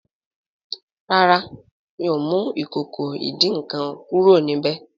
ràrá mio mú Ìkòkò ìdín-nǹkan kúrò níbẹ.